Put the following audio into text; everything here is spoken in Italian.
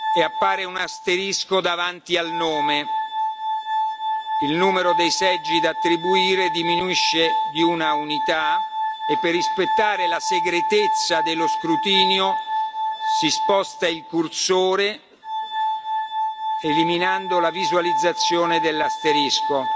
e appare un asterisco davanti al nome. Il numero dei seggi da attribuire diminuisce di una unità. E per rispettare la segretezza dello scrutinio, si sposta il cursore eliminando la visualizzazione dell'asterisco.